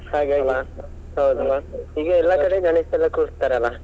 ಹಾಗಾಗಿ ಈಗ ಎಲ್ಲಾ ಕಡೆ ಗಣೇಶನ್ನ ಕೂರಿಸ್ತಾರಲ್ಲ.